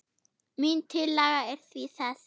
Mín tillaga er því þessi